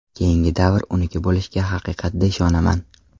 Keyingi davr uniki bo‘lishiga haqiqatda ishonaman.